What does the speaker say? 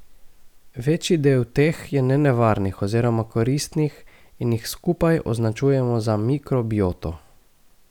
Večji del teh je nenevarnih oziroma koristnih in jih skupaj označujemo za mikrobioto.